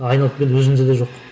айналып келгенде өзімізде де жоқ